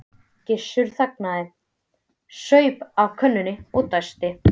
Gissur þagnaði, saup af könnunni og dæsti.